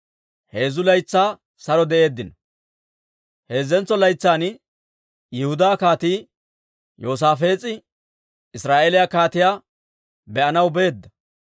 Heezzantso laytsan Yihudaa Kaatii Yoosaafees'e Israa'eeliyaa kaatiyaa be'anaw beedda.